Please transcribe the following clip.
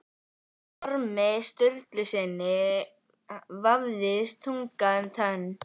Ormi Sturlusyni vafðist tunga um tönn.